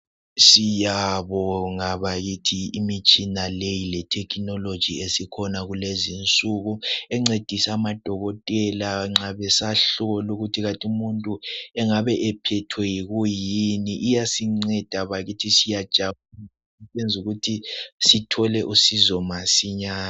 siyabinga bakithi imitshina leyi lethekhinoloji esikhona kulezi insuku incedise amadokotela besahlola ukuthi kanti umuntu engabe ephethwe yikuyini iyasinceda bakithi siyajabula ukwenzela ukuthi sithole usizo masinyane